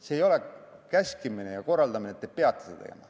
See ei ole käskimine ja korraldamine, et te peate seda tegema.